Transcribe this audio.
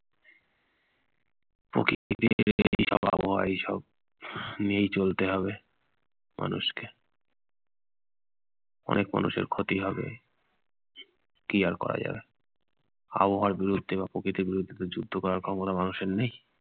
আবহাওয়া এইসব নিয়ে চলতে হবে মানুষকে। অনেক মানুষের ক্ষতি হবে, কি আর করা যাবে। আবহাওয়ার বিরুদ্ধে বা প্রকৃতির বিরুদ্ধে তো যুদ্ধ করার ক্ষমতা মানুষের নেই।